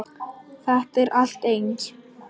Þetta er allt eins.